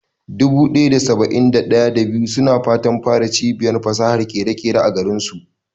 Dubu ɗaya da saba'in da ɗaya, da biyu suna fatan fara cibiyar fasahar ƙere-ƙere a garinsu.